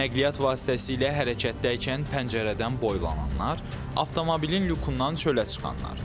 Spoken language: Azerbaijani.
Nəqliyyat vasitəsilə hərəkətdəykən pəncərədən boylananlar, avtomobilin lükundan çölə çıxanlar.